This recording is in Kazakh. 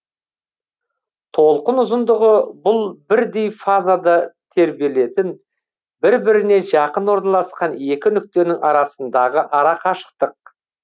толқын ұзындығы бұл бірдей фазада тербелетін бір біріне жақын орналасқан екі нүктенің арасындағы арақашықтық